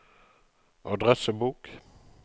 adressebok